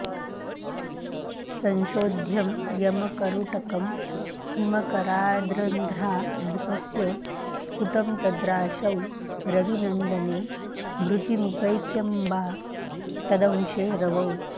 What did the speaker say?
संशोध्यं यमकरुटकं हिमकराद्रन्ध्राधिपस्य स्फुटं तद्राशौ रविनन्दने मृतिमुपैत्यम्बा तदंशे रवौ